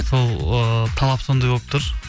сол ыыы талап сондай болып тұр